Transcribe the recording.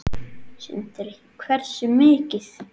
Sindri: Hversu mikið?